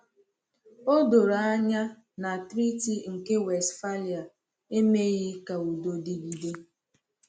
O doro anya na Treaty nke Westphalia emeghị ka udo dịgide.